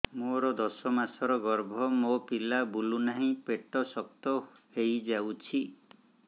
ମୋର ଦଶ ମାସର ଗର୍ଭ ମୋ ପିଲା ବୁଲୁ ନାହିଁ ପେଟ ଶକ୍ତ ହେଇଯାଉଛି